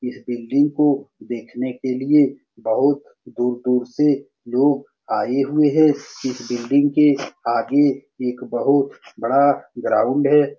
इस बिल्डिंग को देखने के लिए बहुत दूर-दूर से लोग आए हुए है। इस बिल्डिंग के आगे एक बहुत बड़ा ग्राउंड है।